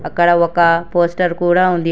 అక్కడ ఒక పోస్టర్ కూడ ఉంది.